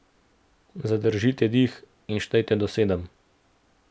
Zadržite dih in štejte do sedem.